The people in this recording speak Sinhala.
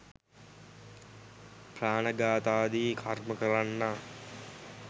ප්‍රාණඝාතාදී කර්ම කරන්නා